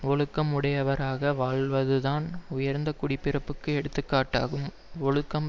ஒழுக்கம் உடையவராக வாழ்வதுதான் உயர்ந்த குடிப்பிறப்புக்கு எடுத்து காட்டாகும் ஒழுக்கம்